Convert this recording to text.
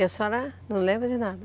E a senhora não lembra de nada?